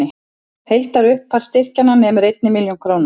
Heildarupphæð styrkjanna nemur einni milljón króna